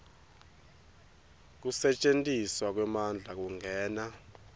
kusetjentiswa kwemandla kungena